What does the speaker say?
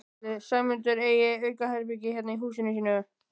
Ætli Sæmundur eigi aukaherbergi hérna í húsinu sínu?